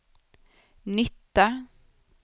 nytta